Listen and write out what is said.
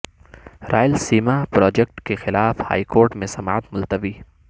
Rayalaseema project کے خلاف high court میں سماعت ملتوی